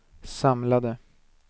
samlade